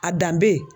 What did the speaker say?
A danbe ye